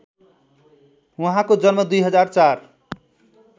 उहाँको जन्म २००४